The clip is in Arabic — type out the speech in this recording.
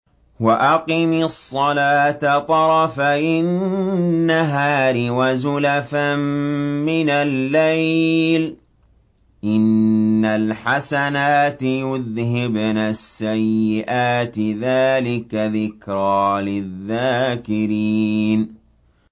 وَأَقِمِ الصَّلَاةَ طَرَفَيِ النَّهَارِ وَزُلَفًا مِّنَ اللَّيْلِ ۚ إِنَّ الْحَسَنَاتِ يُذْهِبْنَ السَّيِّئَاتِ ۚ ذَٰلِكَ ذِكْرَىٰ لِلذَّاكِرِينَ